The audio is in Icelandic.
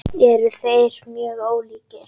Eru þeir mjög ólíkir?